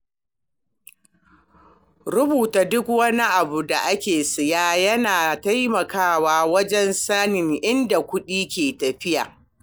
Rubuta duk wani abu da aka siya yana taimakawa wajen sanin inda kuɗi ke tafiya.